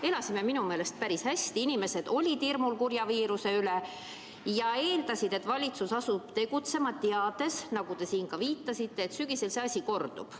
Me elasime minu meelest päris hästi, inimesed olid kurja viiruse pärast hirmul ja eeldasid, et valitsus asub tegutsema, teades, nagu te siin ka viitasite, et sügisel see asi kordub.